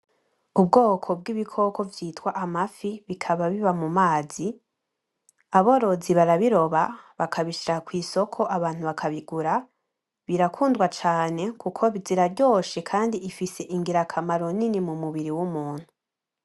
Ubwoko bw'ibikoko vyitwa amafi bikaba biba mu mazi aborozi barabiroba bakabishira ku isoko abantu bakabigura birakundwa cane kuko ziraryoshe kandi ifise ingira kamaro nini mu mubiri w'umunntu.